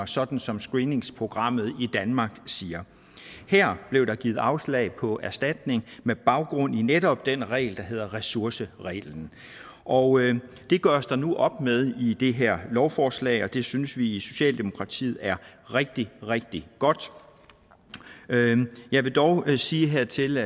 sådan som screeningsprogrammet i danmark siger her blev der givet afslag på erstatning med baggrund i netop den regel der hedder ressourcereglen og det gøres der nu op med i det her lovforslag og det synes vi i socialdemokratiet er rigtig rigtig godt jeg vil dog sige hertil